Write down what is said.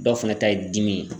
Dɔw fana ta ye dimi ye.